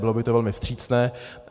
Bylo by to velmi vstřícné.